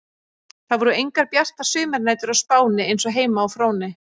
Það voru engar bjartar sumarnætur á Spáni eins og heima á Fróni.